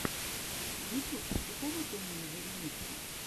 ютьюб посоветуй мне зэремисто